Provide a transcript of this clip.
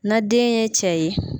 Na den ye cɛ ye